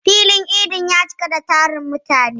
Filin idin ya cika da tarin mutane.